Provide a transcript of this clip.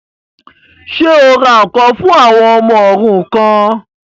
Ṣé o ra ǹkan fún àwọn ọmọ òrukàn?